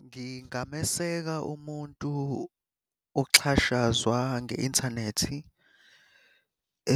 Ngingameseka umuntu oxhashazwa nge-inthanethi